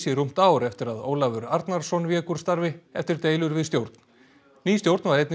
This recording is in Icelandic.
í rúmt ár eftir að Ólafur Arnarson vék úr starfi eftir deilur við stjórn ný stjórn var einnig